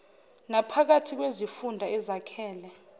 naphakathi kwezifunda ezakhele